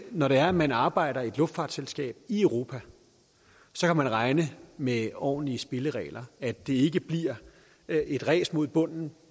når det er at man arbejder i et luftfartsselskab i europa så kan man regne med ordentlige spilleregler at det ikke bliver et ræs mod bunden